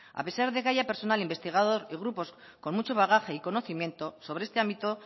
a pesar de que haya personal investigador y grupos con mucho bagaje y conocimiento sobre este ámbito